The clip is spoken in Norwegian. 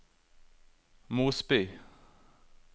Mosby